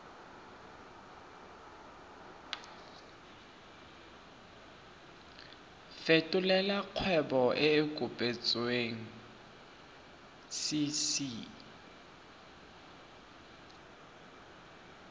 fetolela kgwebo e e kopetswengcc